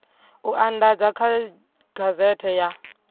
u andadzwa kha gazethe ya